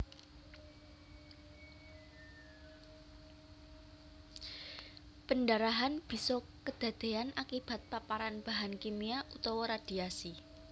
Pendarahan bisa kedadéyan akibat paparan bahan kimia utawa radhiasi